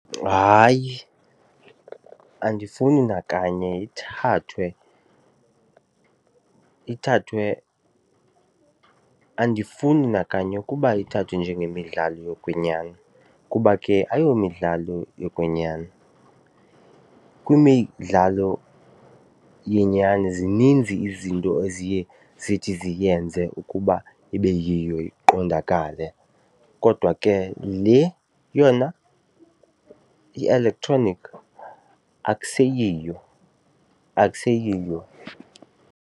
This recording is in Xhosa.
Hayi, andifuni nakanye ithathwe ithathwe. Andifuni nakanye ukuba ithathwe njengemidlalo yokwenyani kuba ke ayomidlalo yokwenyani. Kwimidlalo yenyani zininzi izinto eziye zithi ziyenze ukuba ibe yiyo iqondakale, kodwa ke le yona i-electronic akseyiyo, akseyiyo.